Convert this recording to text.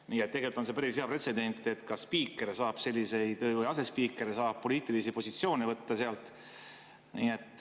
Nii et tegelikult on see päris hea pretsedent, et kas spiiker või asespiiker saab selliseid poliitilisi positsioone võtta seal.